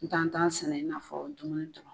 Ntan tan sɛnɛ i n'a fɔ dumuni du